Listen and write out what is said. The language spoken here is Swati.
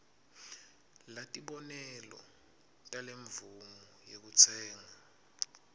latibonelo talemvumo yekutsenga